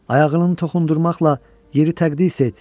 Ayağını toxundurmaqla yeri təqdis et.